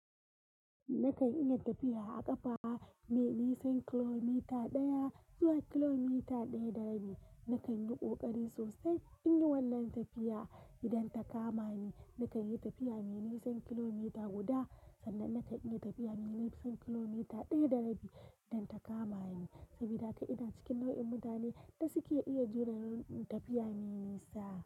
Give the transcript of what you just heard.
Nakan iya tafiya a ƙafa mai nisan kilomita ɗaya zuwa kilomita ɗaya da rabi. Nakan yi ƙoƙari sosai in yi wannan tafiya idan ta kama ni. Nakan yi tafiya mai nisan kilomita guda, sannan nakan yi tafiya mai nisan kilomita ɗaya da rabi idan ta kama ni sabida haka ina cikin nau'in mutanen da suke iya jure tafiya mai nisa.